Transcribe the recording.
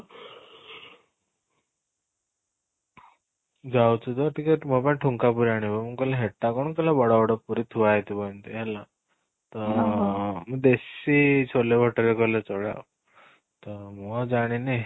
ଯାଉଛୁ ତ ଟିକେ ମୋ ପାଇଁ ଠୁଙ୍କା ପୁରି ଆଣିବୁ, ମୁଁ କହିଲି ହେଟା କ'ଣ? କହିଲା ବଡ ବଡ ପୁରି ଥୁଆ ହେଇଥିବ ଏମିତି ହେଲା ତ ଦେଶୀ ଛୋଲେ nature କଲେ ଚଳେ ତୋ ମୁଁ ଆଉ ଜାଣିନି